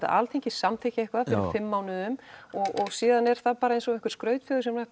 Alþingi samþykkir eitthvað fyrir fimm mánuðum og síðan er það eins og einhver skrautfjöður sem hægt